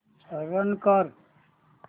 run कर